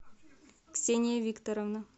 ксения викторовна